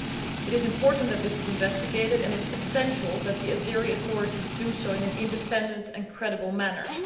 It is important that this is investigated and it is essential that the Azerbaijani authorities do so in an independent and credible manner.